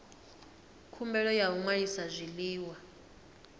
khumbelo ya u ṅwalisa zwiḽiwa